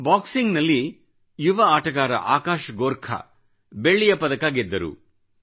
ಬಾಕ್ಸಿಂಗಿನ ಯುವ ಆಟಗಾರ ಆಕಾಶ್ ಗೋರ್ಖಾ ಬೆಳ್ಳಿಯ ಪದಕ ಗೆದ್ದರು